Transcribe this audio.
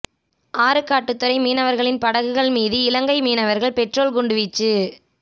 ஆறுக்காட்டுத்துறை மீனவர்களின் படகுகள் மீது இலங்கை மீனவர்கள் பெட்ரோல் குண்டு வீச்சு